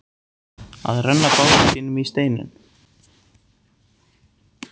Að renna bát sínum í steininn